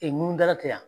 mun dala tɛ yan